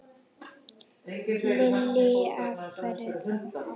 Lillý: Af hverju þá?